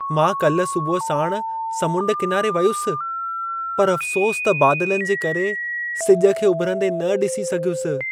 मां काल्ह सुबुह साण समुंड किनारे वियुसि, पर अफ़सोस त बादलनि जे करे सिज खे उभिरंदे न ॾिसी सघियुसि।